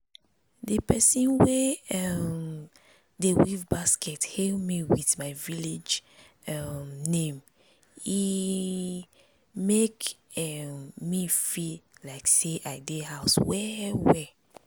di persin wey um dey weave basket hail me with my village um name—e make um me feel like say i dey house well well